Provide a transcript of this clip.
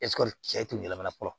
cɛ kun yɛlɛmana fɔlɔ